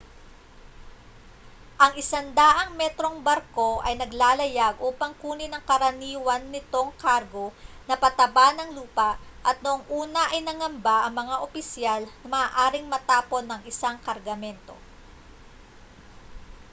ang 100-metrong barko ay naglalayag upang kunin ang karaniwan nitong kargo na pataba ng lupa at noong una ay nangamba ang mga opisyal na maaaring matapon ang isang kargamento